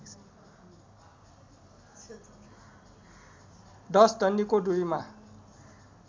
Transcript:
१० डन्डीको दुरीमा